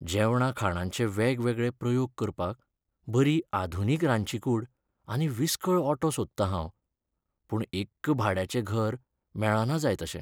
जेवणा खाणांचे वेगवेगळे प्रयोग करपाक बरी आधुनीक रांदची कूड आनी विसकळ ओटो सोदतां हांव, पूण एक्क भाड्याचें घर मेळना जाय तशें.